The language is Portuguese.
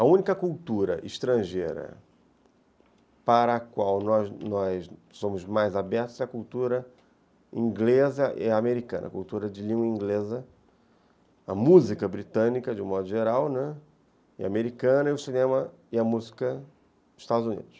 A única cultura estrangeira para a qual nós nós somos mais abertos é a cultura inglesa e americana, a cultura de língua inglesa, a música britânica, de um modo geral, né, e americana, e o cinema e a música dos Estados Unidos.